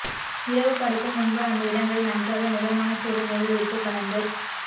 இரவு படுக்கும் முன்பு அந்த இடங்களை நன்றாக மிதமான சூடு நீரில் உப்பு கலந்து